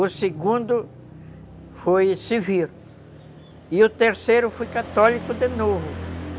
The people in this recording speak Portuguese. O segundo foi civil e o terceiro foi católico de novo.